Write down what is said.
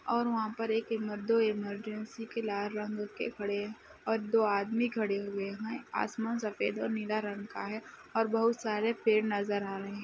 और वहाँ पर एक इमर दो इमरजेंसी के लाल रंग के खड़े और दो आदमी खड़े हुए हैं। आसमान सफ़ेद और नीला रंग का है और बहोत सारे पेड़ नज़र आ रहे हैं।